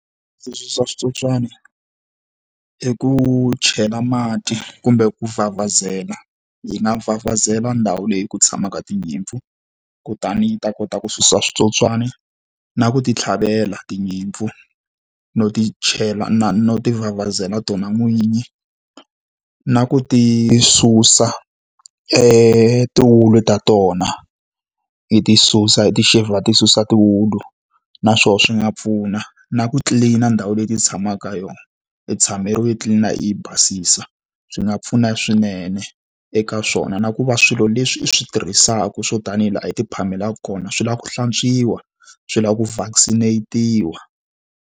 Leswi swa switsotswani i ku chela mati kumbe ku vhavhazela hi nga vhavhazela ndhawu leyi ku tshamaka tinyimpfu, kutani yi ta kota ku susa switsotswana. Na ku ti tlhavela tinyimpfu, no ti chela na no tivhavhazela tona n'winyi, na ku ti susa tiwulu ta tona. Hi ti susa i ti-shave-a hi ti susa tiwulu. Na swona swi nga pfuna. Na ku clean-a ndhawu leyi ti tshamaka ka yona, i i yi tlilina, i yi basisa, swi nga pfuna swinene eka swona. Na ku va swilo leswi i swi tirhisaku swo tanihi hi laha u ti phamelaka kona swi lava ku hlantswiwa, swi lava ku vaccine-netiwa.